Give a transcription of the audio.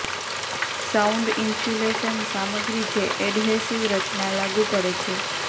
sound insulation સામગ્રી જે adhesive રચના લાગુ પડે છે